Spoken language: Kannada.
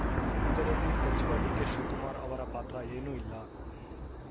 ಇದರಲ್ಲಿ ಸಚಿವ ಡಿಕೆಶಿವಕುಮಾರ್‌ ಅವರ ಪಾತ್ರ ಏನೂ ಇಲ್ಲ